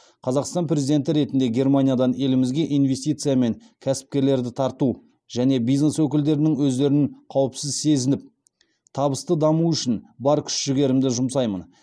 қазақстан президенті ретінде германиядан елімізге инвестиция мен кәсіпкерлерді тарту және бизнес өкілдерінің өздерін қауіпсіз сезініп табысты дамуы үшін бар күш жігерімді жұмсаймын